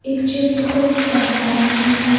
एक चेयर के ऊपर अखबार रखी है।